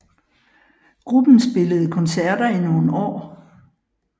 Gruppen spillede koncerter i nogle år